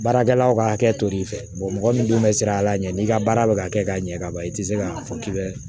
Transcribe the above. Baarakɛlaw ka hakɛ to l'i fɛ mɔgɔ min dun bɛ siran a la ɲɛ n'i ka baara bɛ ka kɛ ka ɲɛ ka ban i tɛ se k'a fɔ k'i bɛ